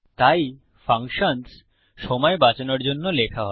তাই ফাংশনস সময় বাচানোর জন্য লেখা হয়